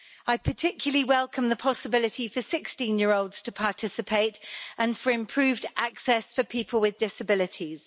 I particularly welcome the possibility for 16-year-olds to participate and for improved access for people with disabilities.